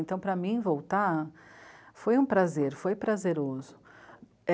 Então, para mim, voltar foi um prazer, foi prazeroso.